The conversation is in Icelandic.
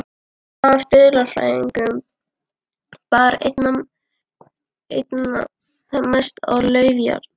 Af dulfrævingum bar einna mest á lauftrjám.